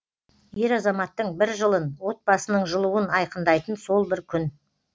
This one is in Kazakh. ер азаматтың бір жылын отбасының жылуын айқындайтын сол бір күн